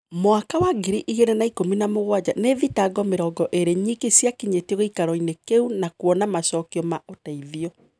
Mwaka wa ngiri igĩrĩ na ikũmi na mũgwanja nii thitango mĩrongo ĩrĩ nyiki ciakinyetio giikaroini kiu na kuona macokio ma uteithio.